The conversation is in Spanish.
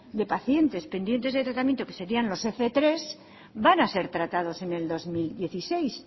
de pacientes pendientes de tratamiento que serían los fmenos tres van a ser tratados en el dos mil dieciséis